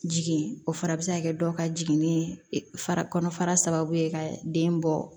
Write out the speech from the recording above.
Jigin o fana bɛ se ka kɛ dɔ ka jiginni fa kɔnɔfara sababu ye ka den bɔ